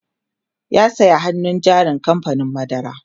ya saya hannun jarin kamfanin madara